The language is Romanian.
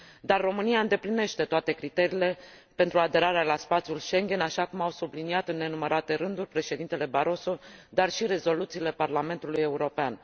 Dar România îndeplinește toate criteriile pentru aderarea la spațiul Schengen, așa cum au subliniat în nenumărate rânduri Președintele Barroso, dar și rezoluțiile Parlamentului European.